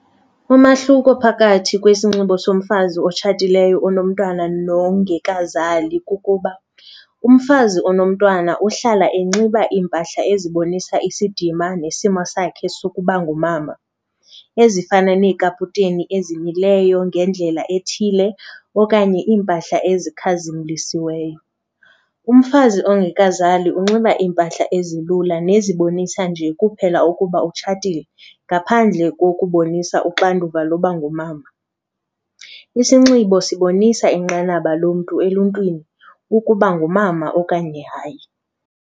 Umahluko phakathi kwesinxibo somfazi otshatileyo onomntwana nongekazali kukuba umfazi onomntwana uhlala enxiba iimpahla ezibonisa isidima nesimo sakhe sokuba ngumama ezifana nekaputeni ezimileyo ngendlela ethile okanye iimpahla ezikhazimlisiweyo. Umfazi ongekazali unxiba iimpahla ezilula nezibonisa nje kuphela ukuba utshatile ngaphandle kokubonisana uxanduva loba ngumama. Isinxibo sibonisa inqanaba lomntu emntwini ukuba ngumama okanye hayi.